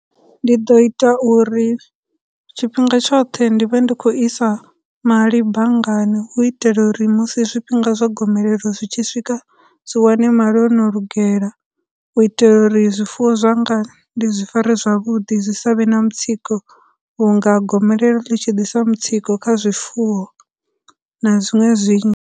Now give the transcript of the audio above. Ndi ḓo ita uri tshifhinga tshoṱhe ndi vhe ndi khou isa mali banngani hu u itela uri musi zwifhinga zwa gomelelo zwi tshi swika zwi wane mali ono lugela, u itela uri zwifuwo zwanga ndi zwi fare zwavhuḓi, zwi savhe na mutsiko vhunga gomelelo ḽi tshi disa mutsiko kha zwifuwo na zwiṅwe zwi .